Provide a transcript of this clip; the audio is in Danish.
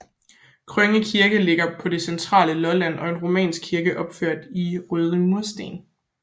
Krønge Kirke ligger på det centrale Lolland og er en romansk kirke opført i røde munkesten